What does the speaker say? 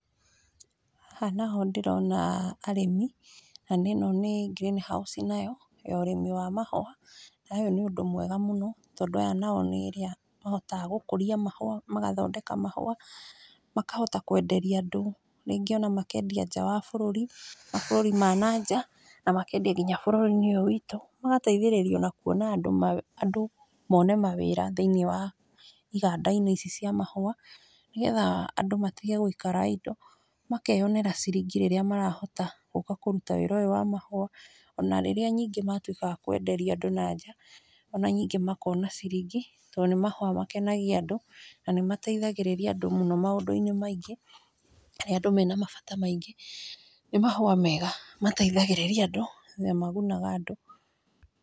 Haha naho ndĩrona arĩmi, na nĩ ĩno nĩ greenhouse nayo ya ũrĩmi wa mahua na ũyũ nĩ ũndũ mwega mũno, tondũ aya nĩ arĩa mahotaga gũkũria mahua, magathondeka mahua, makahota kwenderia andũ, rĩngĩ ona makendia nja wa bũrũri, mabũrũri ma na nja na makendia nginya bũrũri-inĩ ũyũ witũ, magateithĩrĩria andũ mone mawĩra iganda-inĩ ici cia mahua, nĩgetha andũ matige gũikara idle, makeyonĩra ciringi rĩrĩa marahota gũka kũruta wĩra ũyũ wa mahua, ona rĩrĩa ningĩ matuĩkaga akwenderia andũ na nja, ona ningĩ makona ciringi tondũ nĩ mahua makenagia andũ, na nĩ mateithagĩrĩria andũ mũno maũndũ-inĩ maingĩ, rĩrĩa andũ mena mabata maingĩ, nĩ mahua mega mateithagĩrĩria andũ na nĩ magunaga andũ.